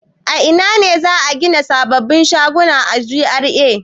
A ina ne za a gina sababbin shaguna a GRA?